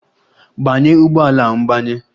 Gbanye ụgbọ ala mgbanye!